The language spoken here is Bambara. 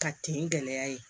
Ka ten gɛlɛya ye